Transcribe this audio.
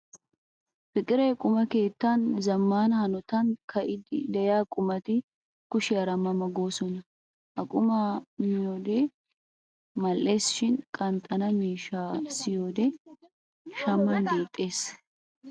Fiqre quma keettan zammaana hanotan ka'iiddi de'iya qumati kushiyara ma ma goosona. Ha qumata miyo wode mal'eesi shin qanxxana miishshaa siyiyo wode shaman deexxees.